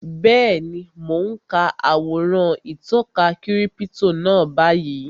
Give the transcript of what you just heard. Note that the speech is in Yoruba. Bẹ́ẹ̀ni, mo n ka àwòrán ìtọka kírípítò náà báyìí